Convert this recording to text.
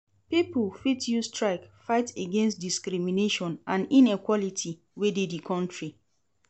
Pipo fit use strike fight against discrimination and inequality wey de di country